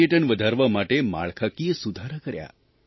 પર્યટન વધારવા માટે માળખાકીય સુધારા કર્યા